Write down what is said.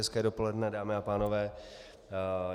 Hezké dopoledne, dámy a pánové.